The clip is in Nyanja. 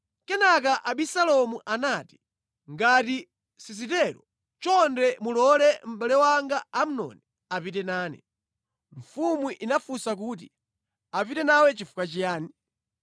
Kenaka Abisalomu anati, “Ngati sizitero, chonde mulole mʼbale wanga Amnoni apite nane.” Mfumu inamufunsa kuti, “Apite nawe chifukwa chiyani?”